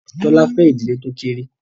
Tola fè ìdílé tó kékeré.